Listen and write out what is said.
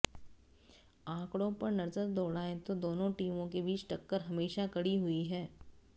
आंकड़ों पर नजर दौड़ाएं तो दोनों टीमों के बीच टक्कर हमेशा कड़ी हुई है